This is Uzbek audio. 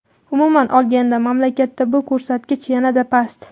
Umuman olganda, mamlakatda bu ko‘rsatkich yanada past.